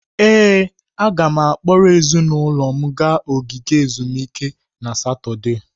Ee, m ga-akpọrọ ezinụlọ m gaa ogige ezumike na Satọde.